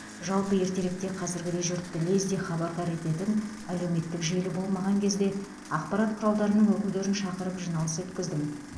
жалпы ертеректе қазіргідей жұртты лезде хабардар ететін әлеуметтік желі болмаған кезде ақпарат құралдарының өкілдерін шақырып жиналыс өткіздім